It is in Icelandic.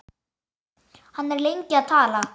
Hann er lengi að tala.